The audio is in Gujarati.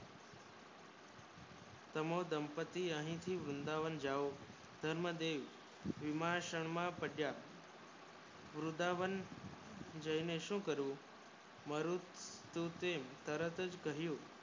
તમે દંતી અહીં થી વૃંદાવન જાવ ધર્મ દેવ ભીમા શામાં પડ્યા વૃંદાવન જાય ને શું કરવું મારુ દુઃખ તરત જ કહ્યું